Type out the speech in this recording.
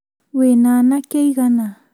Wĩna anake aigana?